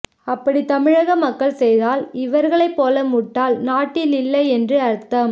அப்படி தமிழக மக்கள் செய்தால் இவர்களை போல முட்டாள் நாட்டில் இல்லை என்று அர்த்தம்